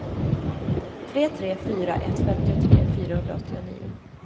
tre tre fyra ett femtiotre fyrahundraåttionio